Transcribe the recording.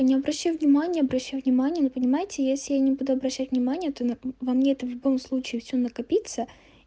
не обращай внимания обращай внимание но понимаете если я не буду обращать внимание мм то во мне это в любом случае все накопиться